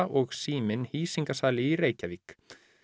og Síminn í Reykjavík